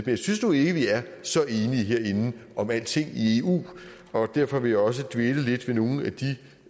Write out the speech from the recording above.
jeg synes nu ikke vi er så enige herinde om alting i eu og derfor vil jeg også dvæle lidt ved nogle